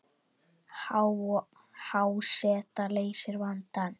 Há seta leysir vandann